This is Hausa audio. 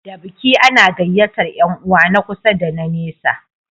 Da biki ana gayyatar Yan uwa na kusa da na nesa